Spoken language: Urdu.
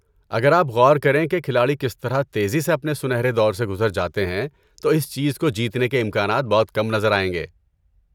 اگر آپ غور کریں کہ کھلاڑی کس طرح تیزی سے اپنے سنہرے دور سے گزر جاتے ہیں تو اس چیز کو جیتنے کے امکانات بہت کم نظر آئیں گے۔